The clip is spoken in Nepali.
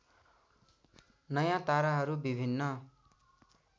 नयाँ ताराहरू विभिन्न